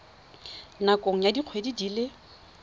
nakong ya dikgwedi di le